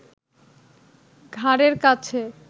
ঘাড়ের কাছে